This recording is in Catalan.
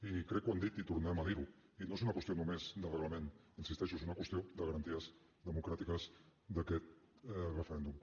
i crec que ho han dit i tornem a dir ho i no és una qüestió només de reglament hi insisteixo és una qüestió de garanties democràtiques d’aquest referèndum